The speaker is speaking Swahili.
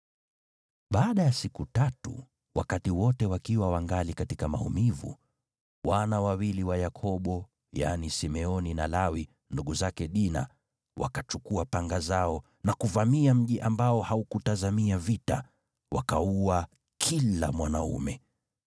Baada ya siku tatu, wakati wote wakiwa wangali katika maumivu, wana wawili wa Yakobo, yaani Simeoni na Lawi, ndugu zake Dina, wakachukua panga zao na kuvamia mji ambao haukutazamia vita, wakaua kila mwanaume.